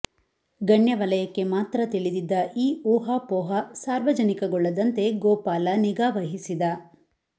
ಗಣ್ಯ ವಲಯಕ್ಕೆ ಮಾತ್ರ ತಿಳಿದಿದ್ದ ಈ ಊಹಾಪೋಹ ಸಾರ್ವಜನಿಕಗೊಳ್ಳದಂತೆ ಗೋಪಾಲ ನಿಗಾ ವಹಿಸಿದ